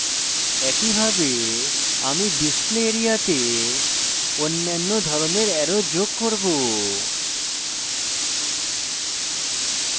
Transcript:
একইভাবে আমি display area তে অন্যান্য ধরনের অ্যারো যোগ করব